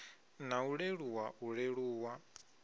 na u leluwa u leluwa